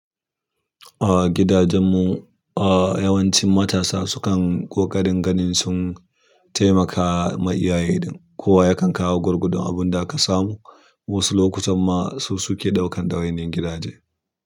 A gidajen mu, a yawancin matasa sukan ƙoƙarin ganin sun taimaka ma iyaye dan kowa yakan kawo gwargwadon abun da aka samu. Wasu lokutan ma su suke ɗaukan ɗawainiyan gidaje.